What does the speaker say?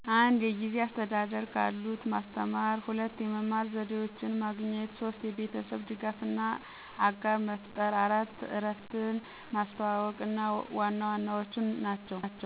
1. የጊዜ አስተዳደር ክሎት ማስተማር 2. የመማር ዘዴዎችን ማግኘት 3. የቤተሰብ ድጋፍ እና አጋር መፍጠር 4. እረፍትን ማስተዋዎቅ ዋና ዋናዎቹ ናቸው።